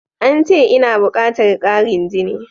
Ance ina bukatar ƙarin jini.